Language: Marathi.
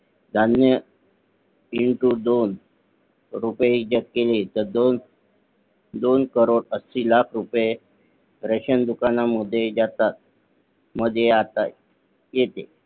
धान्य Into दोन रुपये जर केले तर दोन कोटी ऐंशी लाख रुपये राशन दुकाना मध्ये जातात मध्ये आता. येते